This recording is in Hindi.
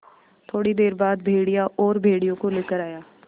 थोड़ी देर बाद भेड़िया और भेड़ियों को लेकर आया